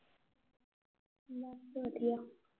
ਵਧੀਆ